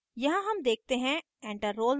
यहाँ हम देखते हैं: enter roll no: